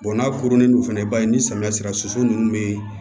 n'a kurunin no fɛnɛ i b'a ni samiya sera soso nunnu bɛ